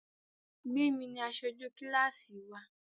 Gbémi ni aṣojú kílásì wa